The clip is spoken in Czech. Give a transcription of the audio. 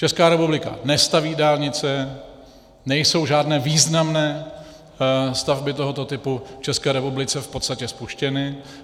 Česká republika nestaví dálnice, nejsou žádné významné stavby tohoto typu v České republice v podstatě spuštěny.